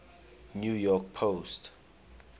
new york post